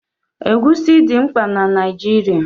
Egusi dị mkpa na nri Naijirịa.